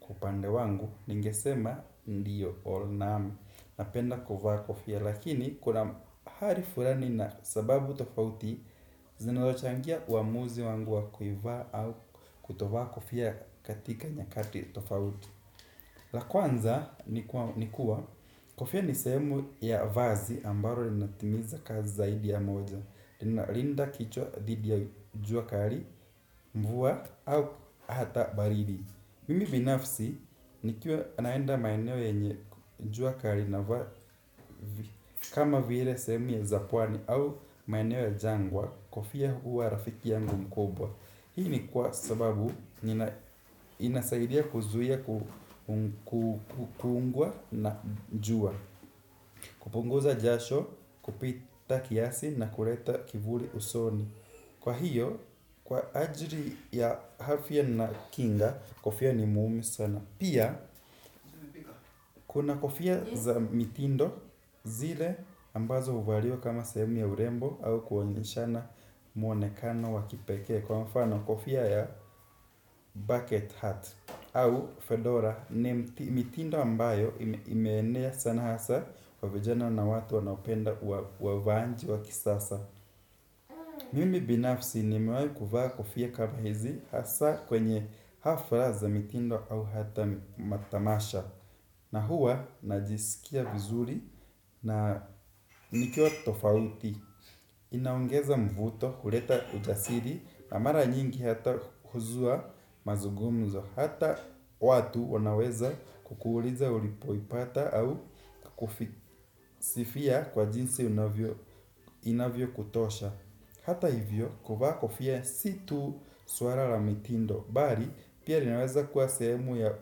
kwa upande wangu. Ningesema ndiyo naam napenda kuvaa kofia. Lakini kula hali fulani na sababu tofauti zinazochangia uamuzi wangu wa kuivaa au kutovaa kofia katika nyakati tofauti. La kwanza ni kuwa kofia nisehemu ya vazi ambalo linatimiza kazi zaidi ya moja. Ninalinda kichwa dhidi ya jua kali, mvua au hata baridi. Mimi binafsi nikiwa naenda maeneo yenye jua kali kama vile sehemu ya za pwani au maeneo ya jangwa kofia huwa rafiki yangu mkubwa. Hii ni kwa sababu inasaidia kuzuia kukuungua na jua, kupunguza jasho kupita kiasi na kuleta kivuli usoni. Kwa hiyo, kwa ajili ya afya na kinga, kofia ni muhimu sana. Pia, kuna kofia za mitindo zile ambazo huvaliwa kama sehemu ya urembo au kuonyeshana mwonekano wa kipekee. Kwa mfano, kofia ya bucket hat au fedora ni mitindo ambayo imeenea sana hasa kwa vijana na watu wanaopenda wavaaji wa kisasa. Mimi binafsi nimewahi kuvaa kofia kama hizi hasa kwenye hafla za mitindo au hata matamasha. Na huwa najisikia vizuri na nikiwa tofauti. Inaongeza mvuto huleta ujasiri na mara nyingi hata huzua mazugumzo. Hata watu wanaweza kukuuliza ulipoipata au kukusifia kwa jinsi inavyokutosha. Hata hivyo kuvaa kofia si tu suala la mitindo bali pia linaweza kuwa sehemu ya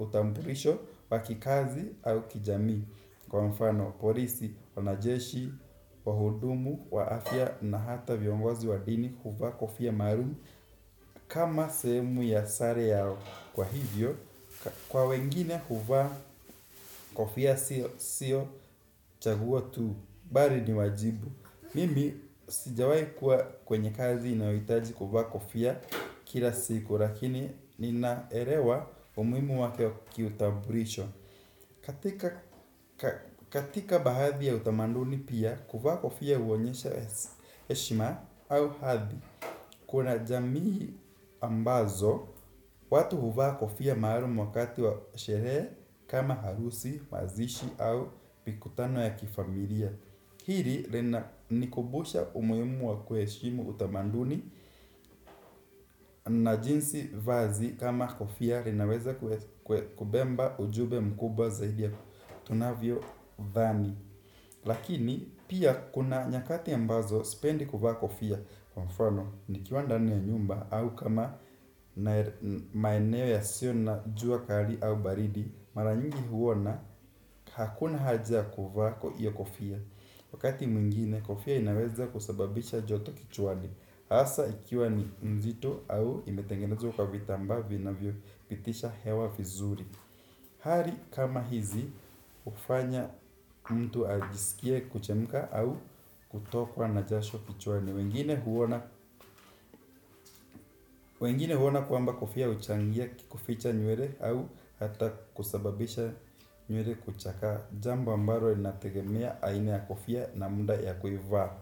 utambulisho wa kikazi au kijamii. Kwa mfano polisi, wanajeshi, wahudumu, wa afya na hata viongozi wa dini huvaa kofia maalum kama sehemu ya sare yao kwa hivyo, kwa wengine huvaa kofia sio chaguo tu bali ni wajibu. Mimi sijawahi kuwa kwenye kazi inayohitaji kuvaa kofia kila siku. Lakini ninaelewa umuhimu wake kiutambulisho. Katika baadhi ya utamanduni pia kuvaa kofia huonyesha heshima au hadhi. Kuna jamii ambazo watu huvaa kofia maalum wakati wa sherehe kama harusi, mazishi au mikutano ya kifamilia. Hili linanikumbusha umuhimu wa kuheshimu utamanduni na jinsi vazi kama kofia linaweza kubeba ujumbe mkubwa zaidi ya tunavyo dhani. Lakini pia kuna nyakati ambazo sipendi kuvaa kofia kwa mfano nikiwa ndani ya nyumba au kama maeneo yasiyo na jua kali au baridi mara nyingi huona hakuna haja kuvaa kwa hiyo kofia. Wakati mwingine kofia inaweza kusababisha joto kichwani. Hasa ikiwa ni mzito au imetengenezwa ka vitambaa vinavyo pitisha hewa vizuri. Hali kama hizi hufanya mtu ajisikie kuchemka au kutokwa na jasho kichwani wengine huona. Wengine huona kwamba kofia huchangia kuficha nywele au hata kusababisha nywele kuchakaa. Jambo ambalo linategemea aina ya kofia na muda ya kuivaa.